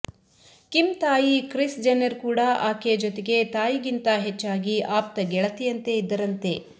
Kim ತಾಯಿ Kris Jenner ಕೂಡ ಆಕೆಯ ಜೊತೆಗೆ ತಾಯಿಗಿಂತ ಹೆಚ್ಚಾಗಿ ಆಪ್ತ ಗೆಳತಿಯಂತೆ ಇದ್ದರಂತೆ